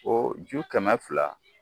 O ju kɛmɛ fila